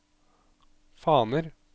faner